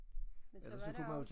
Men så var der også